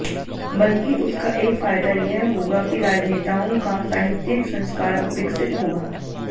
बल्कि उसका एक फायदा यह होगा कि राजनेताओं का साहित्यिक संस्कार विकसित होगा